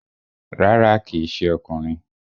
Rárá, kíì ṣe ọkùnrin